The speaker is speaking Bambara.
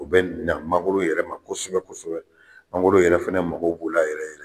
U bɛ na mangoro yɛrɛ ma kosɛbɛ kosɛbɛ mangoro yɛrɛ fana mago b' o la yɛrɛ